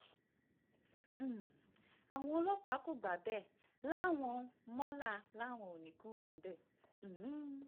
um àwọn ọlọ́pàá kò gbà bẹ́ẹ̀ láwọn mọ́lá làwọn ò ní í kúrò níbẹ̀ um